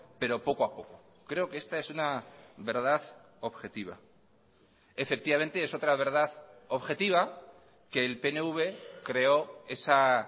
pero poco a poco creo que esta es una verdad objetiva efectivamente es otra verdad objetiva que el pnv creó esa